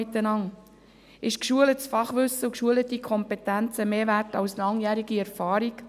Sind geschultes Fachwissen und Kompetenzen mehr wert als langjährige Erfahrung?